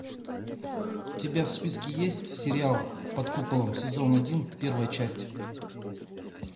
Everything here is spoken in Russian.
у тебя в списке есть сериал под куполом сезон один первая часть